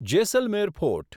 Jaisalmer fort